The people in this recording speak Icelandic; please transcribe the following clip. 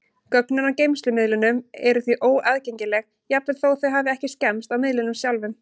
Gögnin á geymslumiðlunum eru því óaðgengileg, jafnvel þó þau hafi ekki skemmst á miðlinum sjálfum.